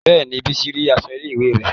Bẹ́ẹ̀ni, bísí rí aṣọ ilé ìwé rẹ̀